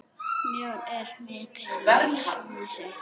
Mjór er mikils vísir.